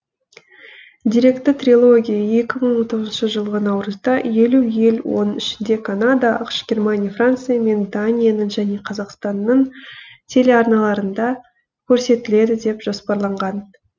деректі трилогия екі мың он тоғызыншы жылғы наурызда елу ел оның ішінде канада ақш германия франция мен данияның және қазақстанның телеарналарында көрсетіледі деп жоспарланған